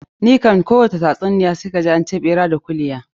Ni kam kowani tatsuniya sai kaji an ce ɓera da kulya.